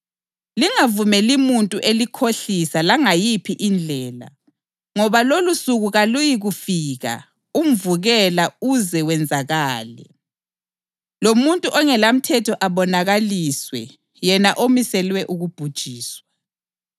Lingavumeli muntu elikhohlisa langayiphi indlela ngoba lolosuku kaluyikufika umvukela uze wenzakale, lomuntu ongelamthetho abonakaliswe yena omiselwe ukubhujiswa.